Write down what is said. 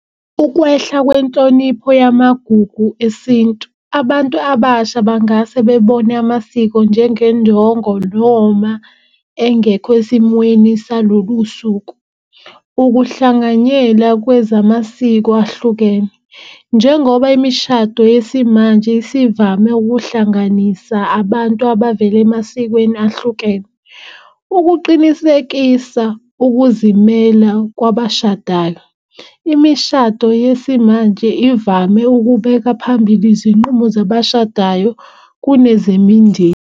Ukwehla kwenhlonipho yamagugu esintu. Abantu abasha bangase bebone amasiko njengenjongo noma engekho esimweni salolu suku. Ukuhlanganyela kwezamasiko ahlukene njengoba imishado yesimanje isivame ukuhlanganisa abantu abavela emasikweni ahlukene. Ukuqinisekisa ukuzimela kwabashadayo imishado yesimanje ivame ukubeka phambili izinqumo zabashadayo kunezemindeni.